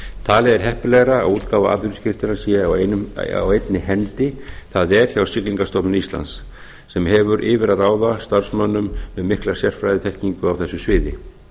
talið er heppilegra að útgáfa atvinnuskírteina sé á einni hendi það er hjá siglingastofnun íslands sem hefur yfir að ráða starfsmönnum með mikla sérfræðiþekkingu á þessu sviði